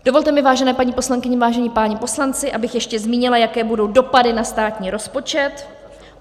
Dovolte mi, vážené paní poslankyně, vážení páni poslanci, abych ještě zmínila, jaké budou dopady na státní rozpočet.